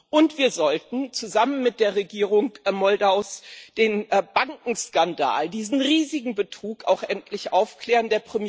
Und wir sollten zusammen mit der Regierung Moldaus den Bankenskandal, diesen riesigen Betrug, auch endlich aufklären.